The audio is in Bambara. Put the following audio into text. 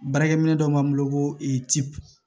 Baarakɛ minɛ dɔ b'an bolo ko cipu